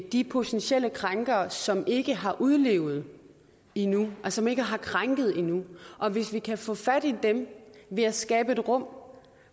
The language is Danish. de potentielle krænkere som ikke har udlevet det endnu som altså ikke har krænket endnu og hvis vi kan få fat i dem ved at skabe et rum